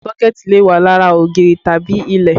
Sọ́kẹ̀tì lè wà lára ògiri tàbí ilẹ̀